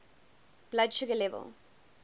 blood sugar level